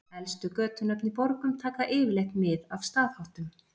Elstu götunöfn í borgum taka yfirleitt mið af staðháttum.